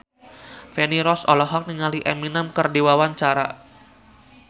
Feni Rose olohok ningali Eminem keur diwawancara